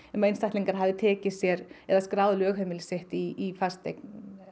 um að einstaklingar hafi tekið sér eða skráð lögheimili sitt í fasteign